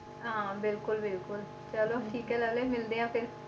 ਹਾਂ ਬਿਲਕੁਲ ਬਿਲਕੁਲ ਚਲੋ ਠੀਕ ਹੈ ਲਾਲੇ ਮਿਲਦੇ ਹਾਂ ਫਿਰ।